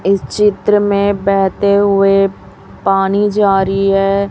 इस चित्र में बहेते हुए पानी जा रही है।